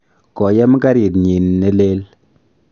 koyem karit nyin ne lel